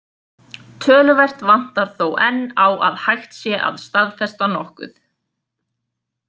Töluvert vantar þó enn á að hægt sé að staðfesta nokkuð.